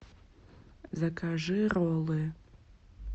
закажи роллы